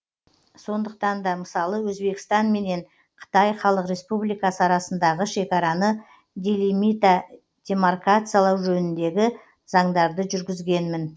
сондықтан да мысалы өзбекстан менен қытай халық республикасы арасындағы шекараны делимита демаркациялау жөніндегі заңдарды жүргізгенмін